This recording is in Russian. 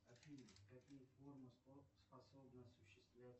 афина какие формы способна осуществлять